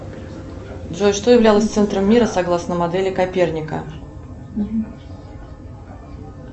джой что являлось центром мира согласно модели коперника